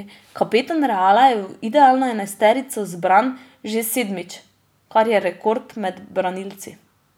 Kapetan Reala je v idealno enajsterico zbran že sedmič, kar je rekord med branilci.